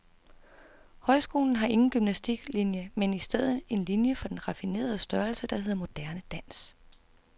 Højskolen har ingen gymnastiklinie, men i stedet en linie for den raffinerede størrelse, der hedder moderne dans.